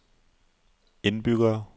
indbyggere